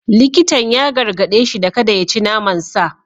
Likitan ya gargade shi da kada ya ci naman sa.